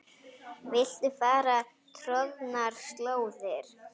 Viltu fara troðnar slóðir?